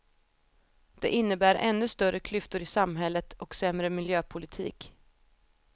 Det innebär ännu större klyftor i samhället och sämre miljöpolitik.